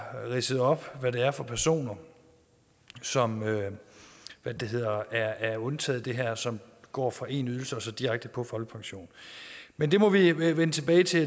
ridset op hvad det er for personer som er undtaget det her og som går fra én ydelse og så direkte på folkepension men det må vi vende tilbage til